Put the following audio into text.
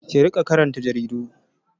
Ki riƙa karanta jaridu!